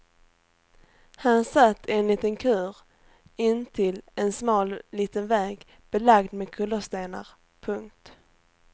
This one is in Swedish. Han satt i en liten kur intill en smal liten väg belagd med kullerstenar. punkt